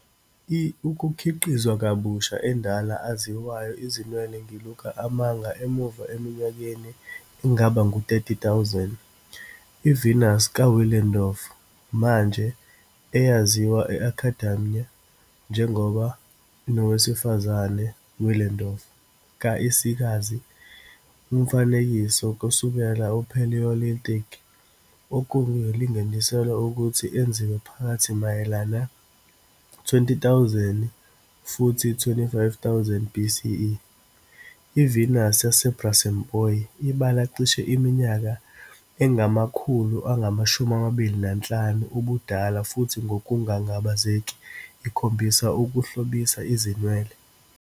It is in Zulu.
I ukukhiqizwa kabusha endala aziwayo izinwele ngiluka amanga emuva eminyakeni engaba ngu-30,000, i- Venus ka Willendorf, manje eyaziwa e Academia njengoba nowesifazane Willendorf, ka insikazi Umfanekiso kusukela Paleolithic, okulinganiselwa ukuthi enziwe phakathi mayelana 20,000 futhi 25,000 BCE. IVenus yaseBrassempouy ibala cishe iminyaka engama-25,000 ubudala futhi ngokungangabazeki ikhombisa ukuhlobisa izinwele.